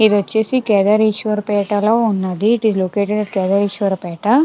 ఇది వచ్చేసి కేదారేశ్వరపేటలో ఉన్నది. ఇది లోకేటెడ్ కేదారేశ్వరపేట.